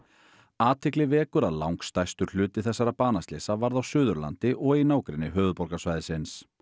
athygli vekur að langstærstur hluti þessara banaslysa varð á Suðurlandi og í nágrenni höfuðborgarsvæðisins